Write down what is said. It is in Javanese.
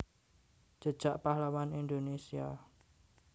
Jejak Pahlawan Indonésia